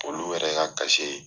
Olu yɛrɛ ka